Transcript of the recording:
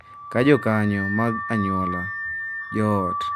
Ka jokanyo mag anyuola, joot,